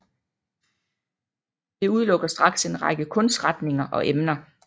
Det udelukker straks en række kunstretninger og emner